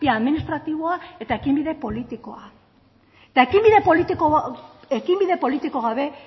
bia administratiboa eta ekinbide politikoa eta ekinbide politiko gabe